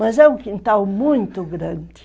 Mas é um quintal muito grande.